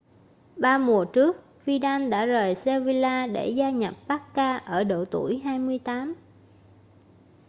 ba mùa trước vidal đã rời sevilla để gia nhập barca ở độ tuổi 28